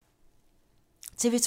TV 2